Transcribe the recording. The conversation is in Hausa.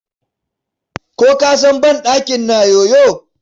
Ko ka san banɗakin na yoyo.